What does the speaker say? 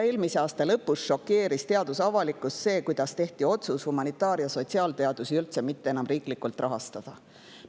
Eelmise aasta lõpus šokeeris teadusavalikkust see, kuidas tehti otsus humanitaar‑ ja sotsiaalteadusi üldse mitte enam riiklikult rahastada.